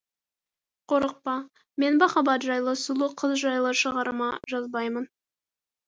қорықпа мен махаббат жайлы сұлу қыз жайлы шығарма жазбаймын